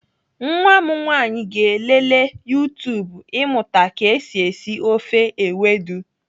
Nwa m nwaanyị ga-elelee YouTube ịmụta ka esi esi ofe ewedu.